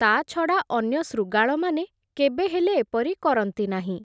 ତା’ଛଡ଼ା, ଅନ୍ୟ ଶୃଗାଳମାନେ, କେବେହେଲେ ଏପରି କରନ୍ତି ନାହିଁ ।